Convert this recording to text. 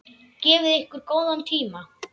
Gefið ykkur góðan tíma.